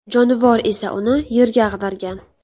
Jonivor esa uni yerga ag‘dargan.